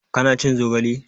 Ka na cin zogale?